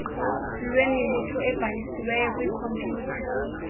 lwemibutho ebhalisiwey kwikhompyutha